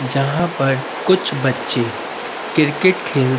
जहाँ पर कुछ बच्चे क्रिकेट खेल --